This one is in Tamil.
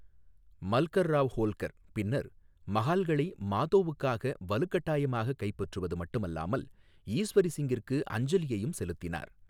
மல்கர் ராவ் ஹோல்கர் பின்னர் மகால்களை மாதோவுக்காக வலுக்கட்டாயமாக கைப்பற்றுவது மட்டுமல்லாமல், ஈஸ்வரி சிங்கிற்கு அஞ்சலியையும் செலுத்தினார்.